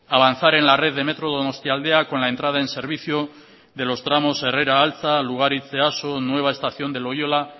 avanzar en la red del metro donostialdea con la entrada en servicio de los tramos herrera altza lugaritz easo nueva estación de loyola